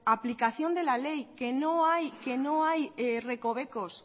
aplicación de la ley que no hay recovecos